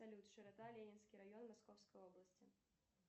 салют широта ленинский район московской области